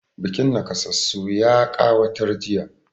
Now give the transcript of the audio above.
Bukin naƙasassu ya ƙawatar jiya.